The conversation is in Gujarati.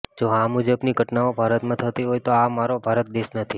જો આ મુજબની ઘટનાઓ ભારતમાં થતી હોય તો આ મારો ભારત દેશ નથી